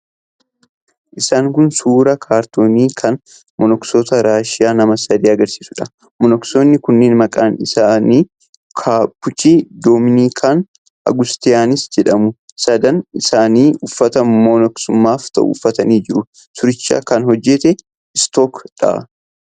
Isaan kun suuraa kaartoonii kan monoksoota Raashiyaa nama sadii agarsiisuudha. Monoksoonni kunneen maqaan isaanii Kaapuchin, Dominikaan, Augastiniyaans jedhamu. Sadan isaanii uffata monoksummaaf ta'u uffatanii jiru. Suuricha kan hojjete 'iStock' dha.